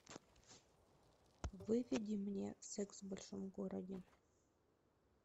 выведи мне секс в большом городе